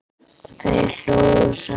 Og þeir hlógu saman.